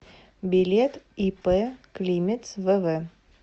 билет ип климец вв